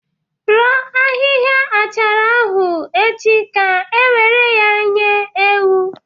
Roo ahịhịa achara ahụ echi ka ewéré ya zuo ewu nri!